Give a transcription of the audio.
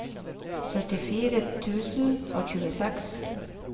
syttifire tusen og tjueseks